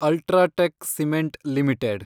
UltraTech cement limited